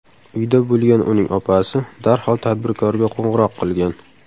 Uyda bo‘lgan uning opasi darhol tadbirkorga qo‘ng‘iroq qilgan.